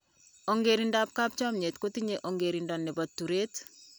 Ongerintokap chomnye kutinyei ongerinto nipo turet.